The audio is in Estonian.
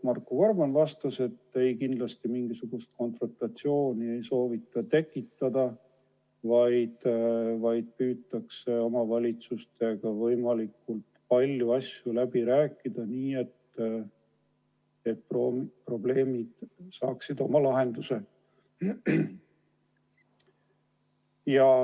Marko Gorban vastas, et kindlasti mingisugust konfrontatsiooni ei soovita tekitada, vaid püütakse omavalitsustega võimalikult palju asju läbi rääkida, nii et probleemid saaksid lahenduse.